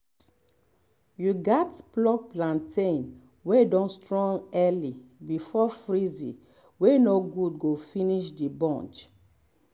you gats pluck plantain wey don strong early before breeze wey no good go fininsh the bunch